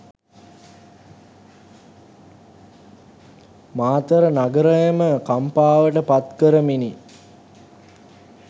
මාතර නගරයම කම්පාවට පත් කරමිනි.